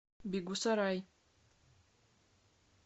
бегусарай